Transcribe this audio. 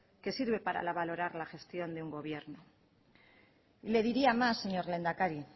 que sirve para valorar la gestión de un gobierno le diría más señor lehendakari